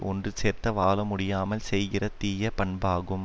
ஒன்று சேர்ந்த வாழ முடியாமல் செய்கிற தீய பண்பாகும்